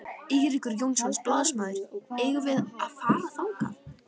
Eiríkur Jónsson, blaðamaður: Eigum við að fara þangað?